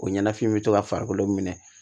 O ɲɛnafin bɛ to ka farikolo minɛ